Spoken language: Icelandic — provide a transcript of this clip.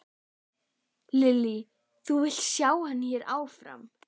Lillý: Þú vilt sjá hann hérna áfram?